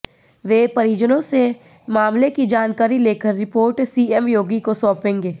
वे परिजनों से मामले की जानकारी लेकर रिपोर्ट सीएम योगी को सौंपेंगे